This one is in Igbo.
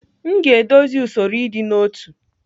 M ga-edozi usoro ịdị n'otu.